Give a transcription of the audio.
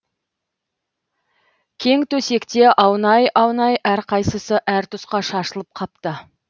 кең төсекте аунай аунай әрқайсысы әр тұсқа шашылып қапты